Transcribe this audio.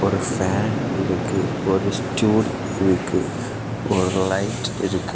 ஒரு ஃபேன் இருக்கு ஒரு ஸ்டூல் இருக்கு ஒரு லைட் இருக்கு.